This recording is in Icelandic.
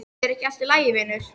Er ekki allt í lagi vinur?